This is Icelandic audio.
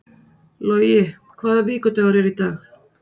Logi, hvaða vikudagur er í dag?